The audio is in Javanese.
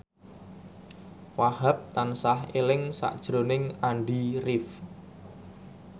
Wahhab tansah eling sakjroning Andy rif